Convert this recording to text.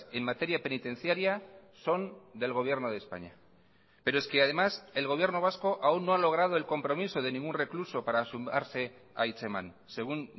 en materia penitenciaria son del gobierno de españa pero es que además el gobierno vasco aún no ha logrado el compromiso de ningún recluso para sumarse a hitzeman según